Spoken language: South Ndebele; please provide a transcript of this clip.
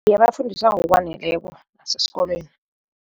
Iye, bafundiswa ngokwaneleko neskolweni.